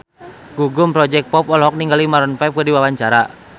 Gugum Project Pop olohok ningali Maroon 5 keur diwawancara